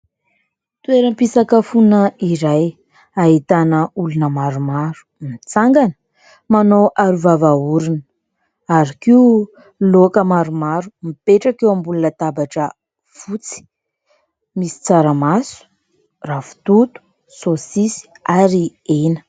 Toeram-pisakafoana iray ahitana olona maromaro mitsangana manao aro-vava-orona ary koa laoka maromaro mipetraka eo ambonin'ny latabatra fotsy. Misy tsaramaso, ravitoto, sosisy ary hena.